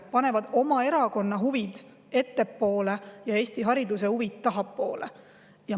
Panevad oma erakonna huvid ettepoole ja Eesti hariduse huvid tahapoole.